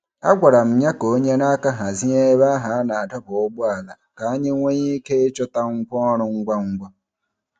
A gwara m ya ka o nyere aka hazie ebe ahụ a na-adọba ụgbọala ka anyị nwee ike ịchọta ngwa ọrụ ngwa ngwa.